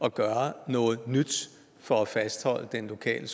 at gøre noget nyt for at fastholde den lokale